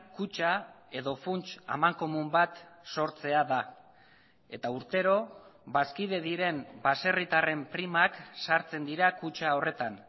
kutxa edo funts amankomun bat sortzea da eta urtero bazkide diren baserritarren primak sartzen dira kutxa horretan